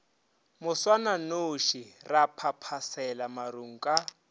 moswananoši ra phaphasela marung ka